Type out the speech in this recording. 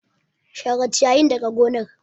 Share ciyayin daga gonar.